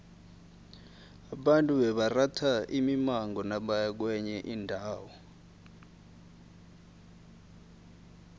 abantu bebaratha imimango nabaya kwenye indawo